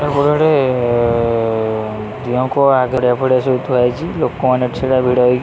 ସବୁଆଡେ ଏ ଏ ଏ ଦିଅଁଙ୍କ ଆଗରେ ଏଭଳିଆ ସବୁ ଥୁଆ ହେଇଚି ଲୋକମାନେ ଛିଡା ଭିଡ଼ ହେଇ --